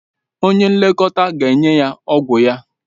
Onye nlekọta ga-enye ya ọgwụ ya.